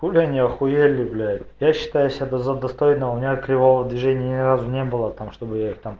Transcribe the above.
хули они ахуели блять я считаю себя за достойного у меня кривого движения ни разу не было там чтобы я их там